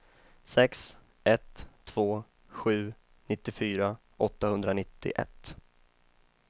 sex ett två sju nittiofyra åttahundranittioett